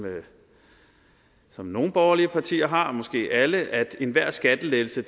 som nogle borgerlige partier har måske alle at enhver skattelettelse